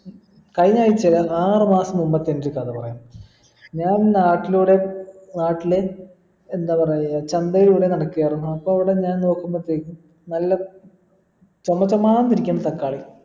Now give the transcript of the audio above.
കഴിഞ്ഞാഴ്ച്ച അല്ല ആറുമാസം മുമ്പത്തെ ഒരൊരു കഥ പറയാം ഞാൻ നാട്ടിലൂടെ നാട്ടിലെ എന്താ പറയാ ചന്തയിലൂടെ നടക്കായിരുന്നു അപ്പോ അവിടെ ഞാൻ നോക്കുമ്പതെക്കും നല്ല ചൊമ ചോമാന്നിരിക്കുന്ന നിൽക്കുന്നു തക്കാളി